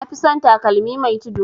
Nafi son takalmi mai tudu